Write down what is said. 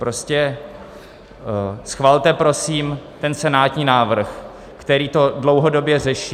Prostě schvalte prosím ten senátní návrh, který to dlouhodobě řeší.